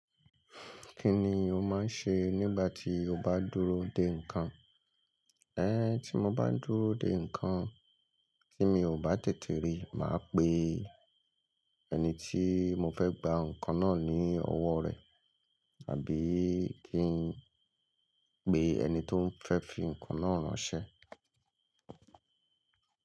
Kí ni o máa ń ṣe nígbà tí o bá dúró de ǹkan? Ẹ̀, tí mo bá n dúró de ǹkan tí mi ò bá tètè rí, màá pe ẹni tí mo fẹ́ gba ǹkan náà ní ọwọ́ rẹ̀, àbí kí n pe ẹni tó fẹ́ fi ǹkan náà ránṣẹ́.